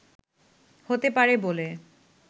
হতে পারে বলে